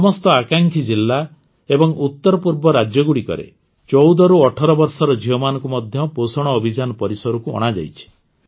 ସମସ୍ତ ଆକାଂକ୍ଷୀ ଜିଲା ଏବଂ ଉତ୍ତର ପୂର୍ବ ରାଜ୍ୟଗୁଡ଼ିକରେ ୧୪ରୁ ୧୮ ବର୍ଷର ଝିଅମାନଙ୍କୁ ମଧ୍ୟ ପୋଷଣ ଅଭିଯାନ ପରିସରକୁ ଅଣାଯାଇଛି